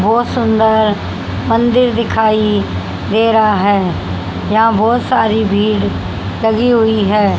बहोत सुंदर मंदिर दिखाई दे रहा है यहाँ बहोत सारी भीड़ लगी हुई है।